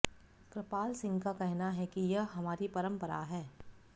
कृपाल सिंह का कहना है कि यह हमारी परंपरा है